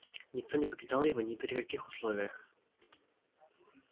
никто не покидал его ни при каких условиях